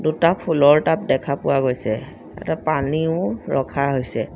দুটা ফুলৰ টাব দেখা পোৱা গৈছে এটা পানীও ৰখা হৈছে।